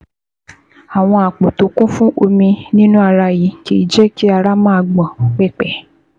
Àwọn àpò tó kún fún omi nínú ara yìí kìí jẹ́ kí ara máa gbọ̀n pẹ̀pẹ̀